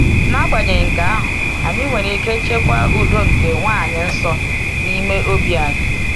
N’agbanyeghị nke ahụ, anyị nwere ike chekwa udo nke Nwaanyị-nsọ n’ime obi anyị.